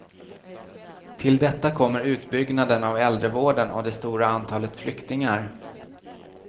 Till detta kommer utbyggnaden av äldrevården och det stora antalet flyktingar.